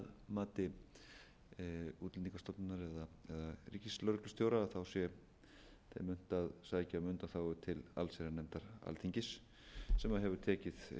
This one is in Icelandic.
mati útlendingastofnunar eða ríkislögreglustjóra sé þeim unnt að sækja um undanþágu til allsherjarnefndar alþingis sem hefur tekið